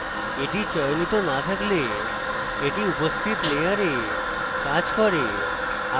এটি চয়নিত না থাকলে এটি উপস্থিত layer কাজ করে